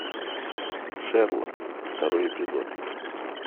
шерлок второй эпизод